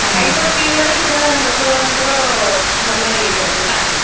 ଖାଇବା ପିଇବାରେ ଲୋକ ମାନ ଙ୍କ ର ପୁରା ଭଲ ଇଏ ଚାଲେ ନା?